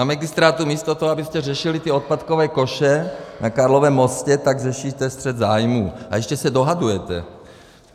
Na magistrátu místo toho, abyste řešili ty odpadkové koše na Karlově mostě, tak řešíte střet zájmů, a ještě se dohadujete.